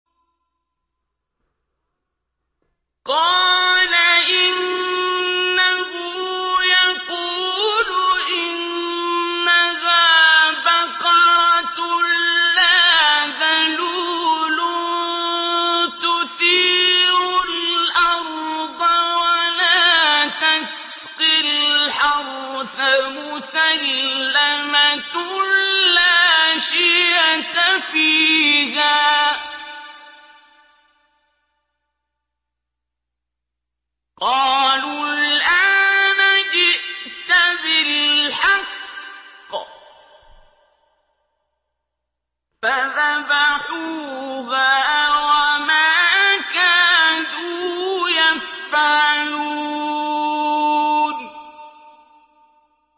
قَالَ إِنَّهُ يَقُولُ إِنَّهَا بَقَرَةٌ لَّا ذَلُولٌ تُثِيرُ الْأَرْضَ وَلَا تَسْقِي الْحَرْثَ مُسَلَّمَةٌ لَّا شِيَةَ فِيهَا ۚ قَالُوا الْآنَ جِئْتَ بِالْحَقِّ ۚ فَذَبَحُوهَا وَمَا كَادُوا يَفْعَلُونَ